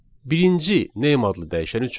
Birinci name adlı dəyişən üçün.